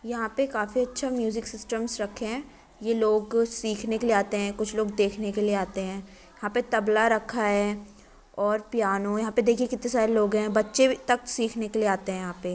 यहाँ पे काफी अच्छा म्यूज़िक सिस्टम्स रखे हैं। ये लोग सीखने के लिए आते हैं। कुछ लोग देखने के लिए आते हैं। यहां पे तबला रखा है और पियानो यहां पे देखिए कितने सारे लोग हैं। बच्चे तक सीखने के लिए आते हैं यहां पे।